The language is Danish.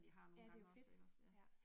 Ja, det jo fedt. Ja